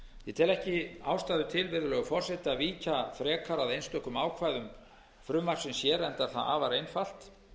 ég tel ekki ástæðu til virðulegi forseti að víkja frekar að einstökum ákvæðum frumvarpsins hér enda er það afar einfalt